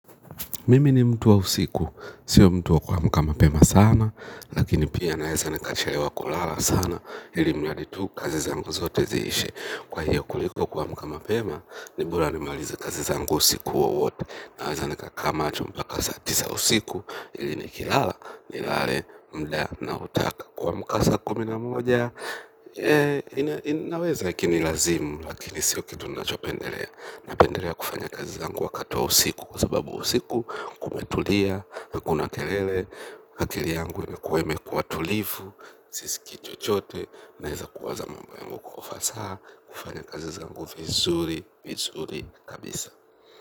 Mimi ni mtu wa usiku, sio mtu wa kuamka mapema sana, lakini pia naweza nikachelewa kulala sana, ilimradi tu kazi zangu zote ziishe. Kwa hiyo kuliko kuamka mapema, ni bora nimalize kazi zangu usiku wowote, naweza nikakaa macho mpaka saa tisa usiku, ili nikilala, nilale mda naotaka kuamka saa kumi na moja. Naweza ikinilazimu. Lakini sio kitu nachopendelea. Napendelea kufanya kazi zangu wakati wa usiku. Kwa sababu usiku kumetulia. Na kuna kelele akili yangu imekuwa imekuwa tulifu. Siskii chochote. Naweza kuwaza mambo yangu kwa ufasaha. Kufanya kazi zangu vizuri. Vizuri kabisa.